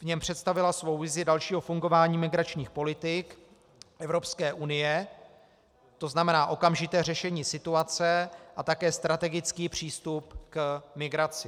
V něm představila svou vizi dalšího fungování migračních politik Evropské unie, to znamená okamžité řešení situace a také strategický přístup k migraci.